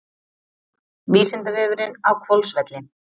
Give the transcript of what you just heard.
Vísindavefurinn á Hvolsvelli.